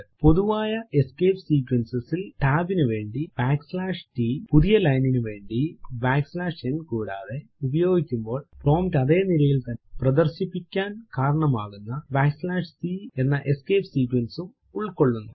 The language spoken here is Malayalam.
പൊതുവായ എസ്കേപ്പ് സീക്വൻസസ് ൽ ടാബ് നുവേണ്ടി t പുതിയ ലൈനിന് വേണ്ടി n കൂടാതെ ഉപയോഗിക്കുമ്പോൾ പ്രോംപ്റ്റ് അതെ നിരയിൽ തന്നെ പ്രദർശിപ്പിക്കാൻ കാരണമാകുന്ന c എന്ന എസ്കേപ്പ് sequence ഉം ഉൾകൊള്ളുന്നു